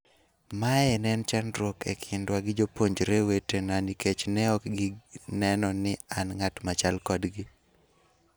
Mae ne en chandruok e kindwa gi jopuonjre wetena nikech ne ok gineno ni an ng'at machal kodgi.